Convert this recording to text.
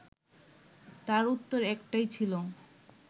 তার উত্তর একটাই ছিল